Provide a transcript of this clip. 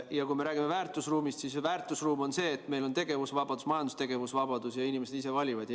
Ja kui me räägime väärtusruumist, siis väärtusruum on see, et meil on tegevusvabadus, majandustegevuse vabadus, ja inimesed ise valivad.